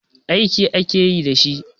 Aiki ake yi da shi.